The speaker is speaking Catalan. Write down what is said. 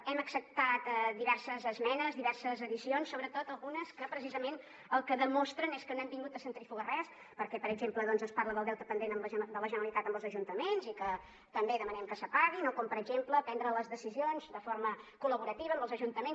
hem acceptat diverses esmenes diverses addicions sobretot algunes que precisament el que demostren és que no hem vingut a centrifugar res perquè per exemple doncs es parla del deute pendent de la generalitat amb els ajuntaments i que també demanem que es pagui o com per exemple prendre les decisions de forma col·laborativa amb els ajuntaments